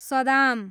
Saddam